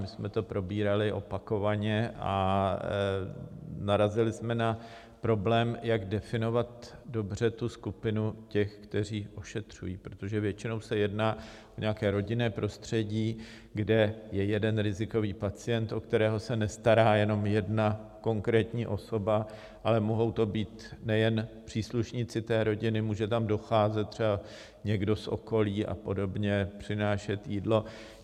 My jsme to probírali opakovaně a narazili jsme na problém, jak definovat dobře tu skupinu těch, kteří ošetřují, protože většinou se jedná o nějaké rodinné prostředí, kde je jeden rizikový pacient, o kterého se nestará jenom jedna konkrétní osoba, ale mohou to být nejen příslušníci té rodiny, může tam docházet třeba někdo z okolí a podobně, přinášet jídlo.